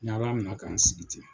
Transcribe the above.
N ɲa ala minɛ ka n sigi ten.